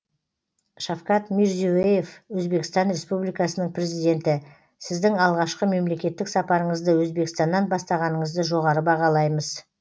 шавкат мирзие ев өзбекстан республикасының президенті сіздің алғашқы мемлекеттік сапарыңызды өзбекстаннан бастағаныңызды жоғары бағалаймыз